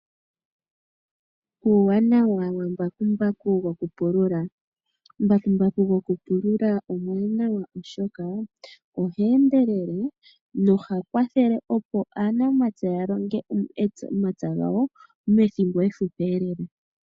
Uuwanawa wa mbakumbaku gokupulula mbakumbaku gokupulula omuwanawa oshoka oha endelele noha kwathele opo aanamapya ya longe omapya gawo methimbo efupi lela.